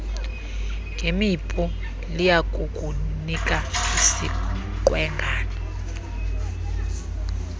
ngemipu liyakukunika isiqwengana